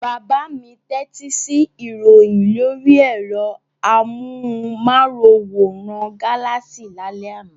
Bàbá mi tẹ́tí sí ìròyìn lórí ẹ̀rọ amóhùmáwòhán Galaxy lálẹ́ àná.